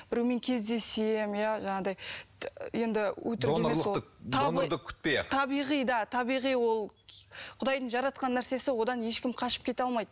біреумен кездесемін иә жаңағыдай енді өтірік емес ол табиғи да табиғи ол құдайдың жаратқан нәрсесі одан ешкім қашып кете алмайды